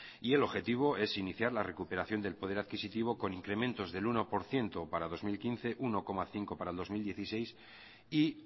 y el objetivo es iniciar la recuperación del poder adquisitivo con incrementos del uno por ciento para dos mil quince uno coma cinco para el dos mil dieciséis y